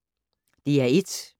DR1